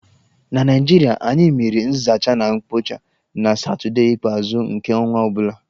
Na Naịjirịa, anyị mere nzacha na mkpocha na satọdee ikpeazụ nke ọnwa ọ bula.